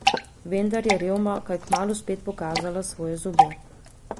Vendar je revma kaj kmalu spet pokazala svoje zobe.